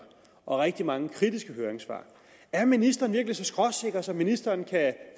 og rigtig mange kritiske høringssvar er ministeren virkelig så skråsikker at ministeren